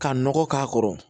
Ka nɔgɔ k'a kɔrɔ